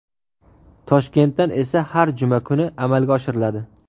Toshkentdan esa har juma kuni amalga oshiriladi.